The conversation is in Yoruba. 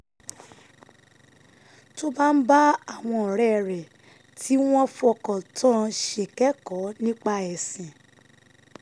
tó bá ń bá àwọn ọ̀rẹ́ rẹ̀ tí wọ́n fọkàn tán ṣèkẹ́kọ̀ọ́ nípa ẹ̀sìn